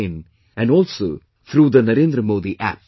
in and also through the NarendraModiApp